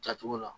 Jatogo la